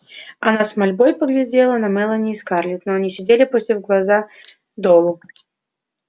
она с мольбой поглядела на мелани и скарлетт но они сидели опустив глаза долу